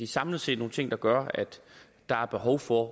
samlet set nogle ting der gør at der er behov for